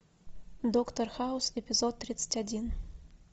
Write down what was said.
доктор хаус эпизод тридцать один